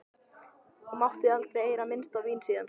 Og mátti aldrei heyra minnst á vín síðan.